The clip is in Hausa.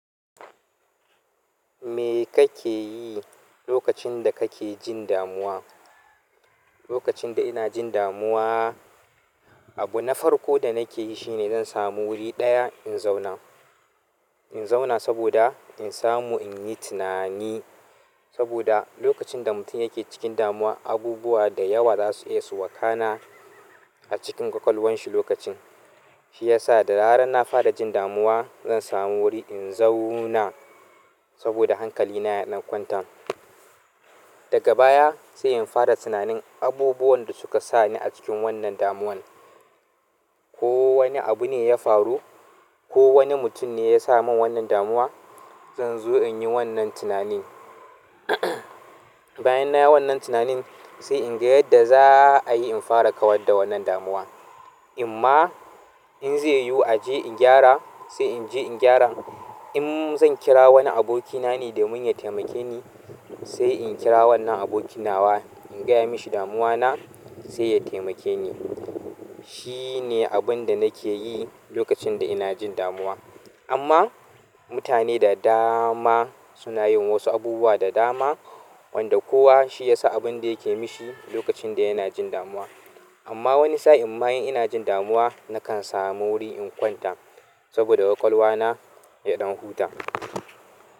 Me kake yi lokacin da kake jin damuwa? Lokacin da ina jin damuwa, abu na farko da nake yi shine zan samu wuri ɗaya in zauna. In zauna saboda in samu in yi tunani. Saboda lokacin da mutum yake cikin damuwa, abubuwa da dama za su iya faruwa a ƙwaƙwalwarsa a lokacin. Shi ya sa da zaran na fara jin damuwa, zan samu wuri in zauna saboda hankali na ya ɗan kwanta. Daga baya sai in fara tunanin abubuwan da suka sa ni a cikin wannan damuwan. Ko wani abu ne ya faru, ko wani mutum ne ya sa mun wannan damuwa, zan zo in yi wannan tunanin. Bayan na yi wannan tunanin sai in ga yadda za a yi in fara kawar da wannan damuwa. In ma in zai yiwu in je in gyara, sai in je in gyara. In zan kira wani abokina ne domin ya taimake ni, sai in kira wannan abokin nawa, in gaya mashi damuwa na sai ya taimake ni. Shi ne abin da nake yi lokacin da ina jin damuwa. Amma mutane da dama suna yin wasu abubuwa da dama wanda kowa shi ya sa abin da yake mishi lokacin da yana jin damuwa. Amma wani sa'in ma in ina jin damuwa nakan samu wuri in kwanta saboda ƙwaƙwalwa na ya ɗan huta.